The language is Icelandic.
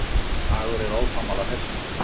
Dagur er ósammála þessu.